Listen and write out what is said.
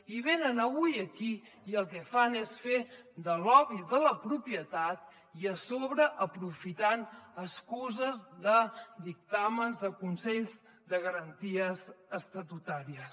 i venen avui aquí i el que fan és fer de lobby de la propietat i a sobre aprofitant excuses de dictàmens de consells de garanties estatutàries